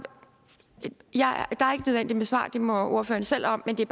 et svar det må ordføreren selv om men det